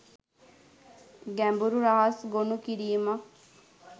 ගැඹුරු රහස් ගොනු කිරීමක්.